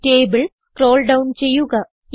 table scroll down ചെയ്യുക